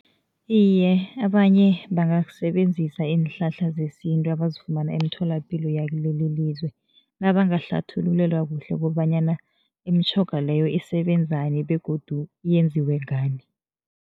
Iye, abanye bangasebenzisa iinhlahla zesintu abazifumana emitholapilo yakuleli lizwe, nabangahlathululelwa kuhle kobanyana imitjhoga leyo isebenzani begodu yenziwe ngani.